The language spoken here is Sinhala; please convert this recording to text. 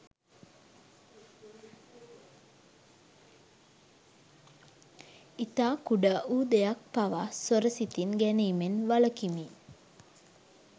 ඉතා කුඩා වූ දෙයක් පවා සොර සිතින් ගැනීමෙන් වළකිමි